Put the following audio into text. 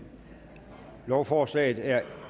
lovforslaget er